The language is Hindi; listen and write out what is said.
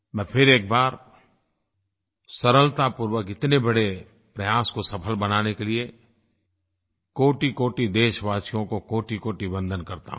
मैं फिर एक बार सरलतापूर्वक इतने बड़े प्रयास को सफल बनाने के लिए कोटिकोटि देशवासियों को कोटिकोटि वंदन करता हूँ